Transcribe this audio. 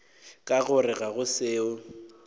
ka gore ga go seo